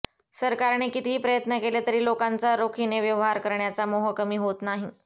सरकारने कितीही प्रयत्न केले तरी लोकांचा रोखीने व्यवहार करण्याचा मोह कमी होत नाही